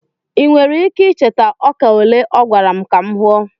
ị nwere ike icheta ọka ole ọ gwara m ka m huo?